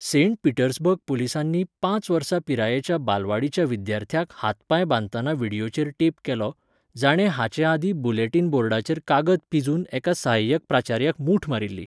Saint Petersburg पुलिसांनी पांच वर्सां पिरायेच्या बालवाडीच्या विद्यार्थ्याक हातपांय बांदतना व्हिडियोचेर टेप केलो, जाणें हाचे आदीं बुलेटिन बोर्डाचेर कागद पिंजून एका सहाय्यक प्राचार्याक मुठ मारिल्ली.